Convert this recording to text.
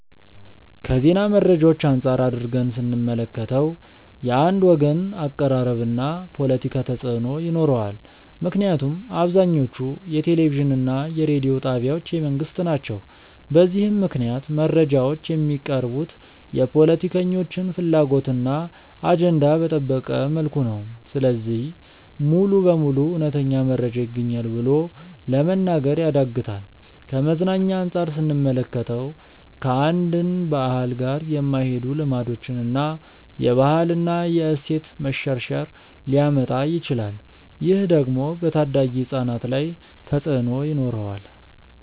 ከዜና መረጃዎች አንፃር አድርገን ስንመለከተው። የአንድ ወገን አቀራረብ እና ፖለቲካ ተፅእኖ ይኖረዋል ምክንያቱም አብዛኞቹ የቴሌቪዥን እና የሬዲዮ ጣቢያዎች የመንግስት ናቸው። በዚህም ምክንያት መረጃዎች የሚቀርቡት የፖለቲከኞችን ፍላጎት እና አጀንዳ በጠበቀ መልኩ ነው። ስለዚህ ሙሉ በሙሉ እውነተኛ መረጃ ይገኛል ብሎ ለመናገር ያዳግታል። ከመዝናኛ አንፃር ስንመለከተው። ከአንድን ባህል ጋር የማይሄዱ ልማዶችን እና የባህል እና የእሴት መሸርሸር ሊያመጣ ይችላል። ይህ ደግሞ በታዳጊ ህፃናት ላይ ተፅእኖ ይኖረዋል።